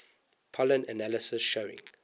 pollen analysis showing